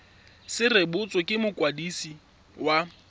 se rebotswe ke mokwadisi wa